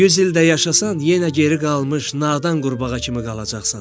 100 il də yaşasan, yenə geri qalmış nadan qurbağa kimi qalacaqsan.